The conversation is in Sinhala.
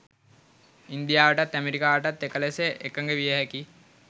ඉන්දියාවටත් ඇමරිකාවටත් එක ලෙස එකග විය හැකි